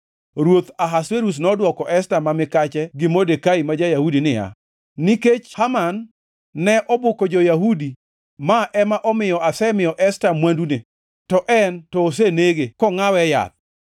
Ruoth Ahasuerus nodwoko Esta ma mikache gi Modekai ma ja-Yahudi niya, Nikech Haman ne obuko jo-Yahudi ma ema omiyo asemiyo Esta mwandune, to en to osenege, kongʼawe e yath.